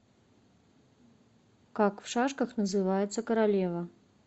как в шашках называется королева